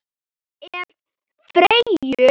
Ef. Freyju